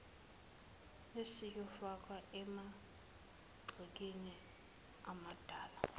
esiyofakwa emagcekeni amadela